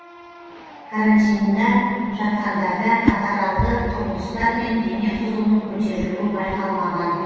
карантинде жатқандарда катаралды құбылыстар мен дене қызуының көтерілуі байқалмаған